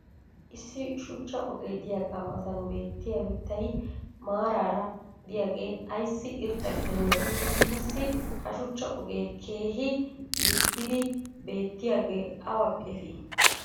issi shuchcha ogee diyaaga matan beettiya mitay maarara diyaage ayssi irxxa gididee? qassi ha shuchcha ogee keehi lil'idi beetiyaage awa efii?